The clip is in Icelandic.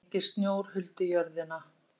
Enginn snjór huldi jörðina.